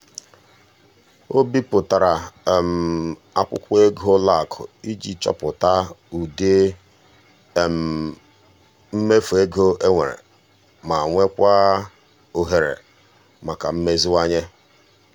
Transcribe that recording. o bipụtara akwụkwọ ego ụlọakụ iji chọpụta ụdị mmefu ego e nwere ma nwekwaa ohere maka mmeziwanye.